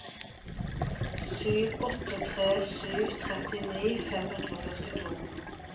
sju åtte tre sju tjueni fem hundre og førtito